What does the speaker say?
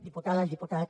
diputades i diputats